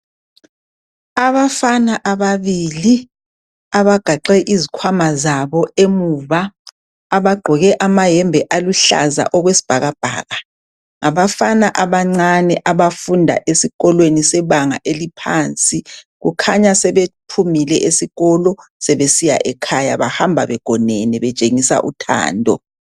Abafana ababili, abagaxe izikhwama zabo emuva. Abagqoke amayembe aluhlaza, okwesibhakabhaka. Ngabafana abancane, abafunda esikolweni sebanga eliphansi. Kukhanya sebephumile esikolo. Bahamba begonene. Betshengisa uthando.